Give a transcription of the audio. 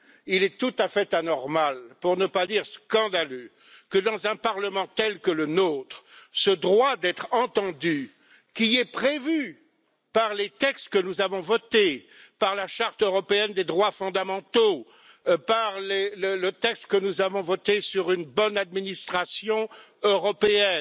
Il est tout à fait anormal, pour ne pas dire scandaleux, que, dans un Parlement tel que le nôtre, ce droit d'être entendu qui est prévu par les textes que nous avons votés, à savoir la charte européenne des droits fondamentaux et le texte sur une bonne administration européenne